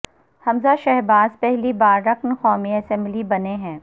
حمزہ شہباز پہلی بار رکن قومی اسمبلی بنے ہیں